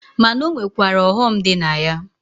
Ma na o nwekwara ọghọ m dị na ya.